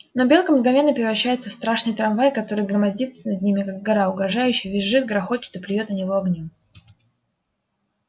но белка мгновенно превращается в страшный трамвай который громоздится над ними как гора угрожающе визжит грохочет и плюёт на него огнём